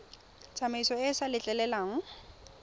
tsamaiso e e sa letleleleng